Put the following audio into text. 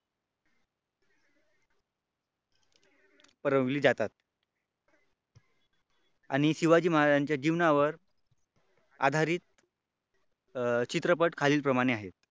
भरवली जातात आणि शिवाजी महाराजांच्या जीवनावर आधारित चित्रपट खालील प्रमाणे आहेत.